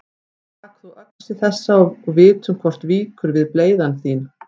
Tak þú öxi þessa og vitum hvort víkur við bleyða þín.